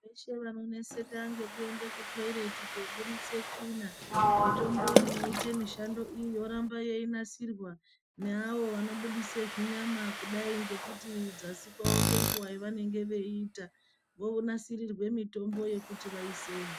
Veshe vanoneseka ngekuende kutoireti kobudise tsvina mitombo inoite mishando iyi yoramba yeinasirwa neawo anobudise zvinyama kudai ngekuti dzasi kwavo ngenguva yavanenge veiita vonanasirirwe mitombo yekuti vaiseyo.